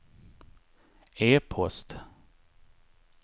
e-post